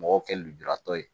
Mɔgɔw kɛ lujuratɔ ye